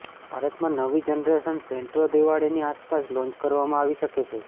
ભારતમાં નવી generation Santro દિવાળીની આસપાસ લોન્ચ કરવામાં આવી શકે છે